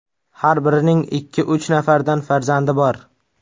Har birining ikki-uch nafardan farzandi bor.